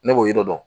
Ne b'o yiri dɔn